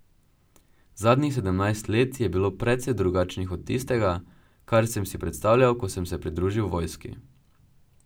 Zadnjih sedemnajst let je bilo precej drugačnih od tistega, kar sem si predstavljal, ko sem se pridružil vojski.